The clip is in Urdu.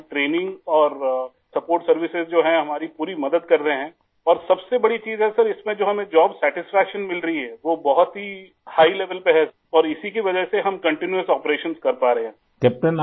ہماری ٹریننگ اور امدادی خدمات ، جو ہیں ، ہماری پوری مدد کر رہے ہیں اور سب سے بڑی چیز یہ ہے سر ، اس میں جو ہمیں جوب پر اطمینان مل رہا ہے ، وہ بہت ہی اعلیٰ درجے کا ہے اور اسی کی وجہ سے ہم مسلسل آپریشن کر پا رہے ہیں